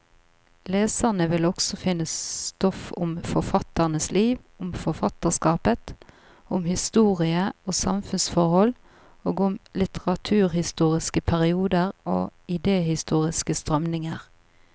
Leserne vil også finne stoff om forfatternes liv, om forfatterskapet, om historie og samfunnsforhold, og om litteraturhistoriske perioder og idehistoriske strømninger.